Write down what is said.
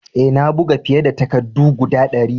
Eh, na buga fiye da takaddu guda dari.